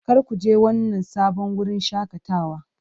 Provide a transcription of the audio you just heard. Kar ku je wannan sabon wurin shakatawa!